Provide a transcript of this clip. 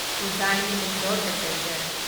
Ujjain Indore passenger